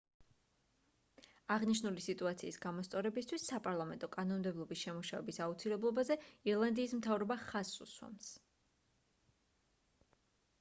აღნიშნული სიტუაციის გამოსწორებისთვის საპარლამეტო კანონმდებლობის შემუშავების აუცილებლობაზე ირლანდიის მთავრობა ხაზს უსვამს